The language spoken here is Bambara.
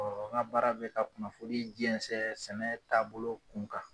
n kabaara bɛ ka kunnafoni jɛnsɛn sɛnɛ tabolo kun kan.